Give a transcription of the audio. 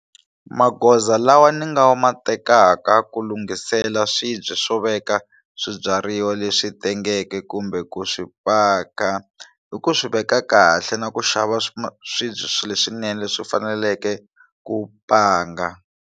Magoza lawa ni nga ma tekaka ku lunghisela swibye swo veka swibyariwa leswi tengeke kumbe ku swi paka i ku swi veka kahle na ku xava swibye swilo swinene leswi faneleke ku panga.